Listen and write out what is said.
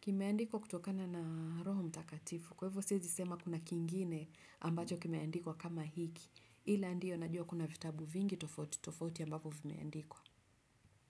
kimeandikwa kutokana na roho mtakatifu. Kwa hivyo siwezi sema kuna kingine ambacho kimeandikwa kama hiki. Ila ndiyo najua kuna vitabu vingi tofauti tofauti ambapo vimeandikwa.